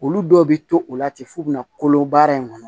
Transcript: Olu dɔw bɛ to u la ten f'u bɛna kolo baara in kɔnɔ